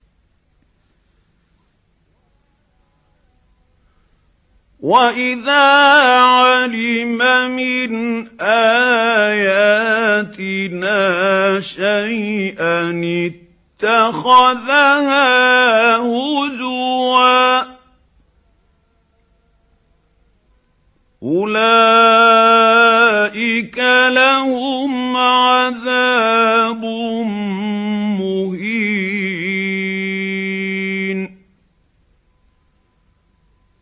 وَإِذَا عَلِمَ مِنْ آيَاتِنَا شَيْئًا اتَّخَذَهَا هُزُوًا ۚ أُولَٰئِكَ لَهُمْ عَذَابٌ مُّهِينٌ